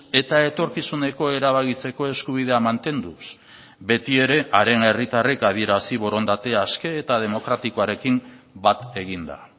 eta etorkizuneko erabakitzeko eskubidea mantenduz beti ere haren herritarrek adierazi borondate aske eta demokratikoarekin bat eginda